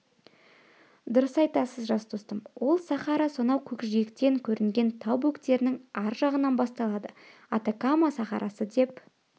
дұрыс айтасыз жас достым ол сахара сонау көкжиектен көрінген тау бөктерінің аржағынан басталады атакама сахарасы деп